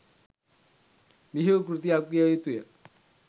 බිහි වූ කෘතියක් විය යුතු ය.